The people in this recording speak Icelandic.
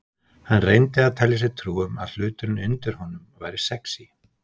Hann reyndi að telja sér trú um að hluturinn undir honum væri sexí.